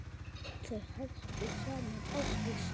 Þau hættu saman ári síðar.